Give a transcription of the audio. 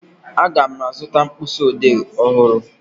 Aga m azụta mkpịsịodee ọhụrụ